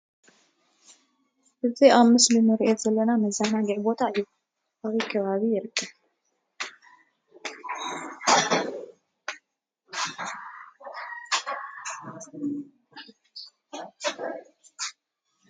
እዚ አብ ምስሊ ንሪኦ ዘለና መዘናግዒ ቦታ እዩ። አበይ ከባቢ ይርከብ?